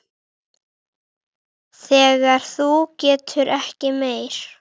Þegar þú getur ekki meir.